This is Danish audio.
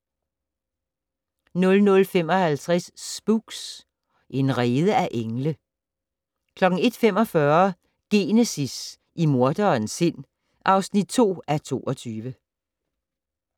00:55: Spooks: En rede af engle 01:45: Genesis - i morderens sind (2:22)